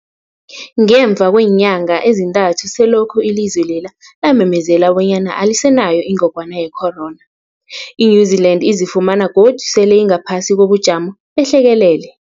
Ngemva kweenyanga ezintathu selokhu ilizwe lela lamemezela bonyana alisenayo ingogwana ye-corona, i-New-Zealand izifumana godu sele ingaphasi kobujamo behlekelele.